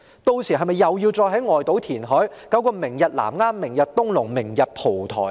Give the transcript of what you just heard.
屆時，是否又要在外島填海，搞個"明日南丫"、"明日東龍"、"明日蒲台"呢？